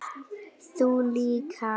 Þú líka.